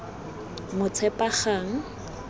motshepagang